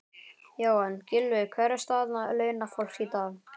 Jóhann: Gylfi, hver er staða launafólks í dag?